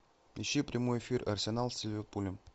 ищи прямой эфир арсенал с ливерпулем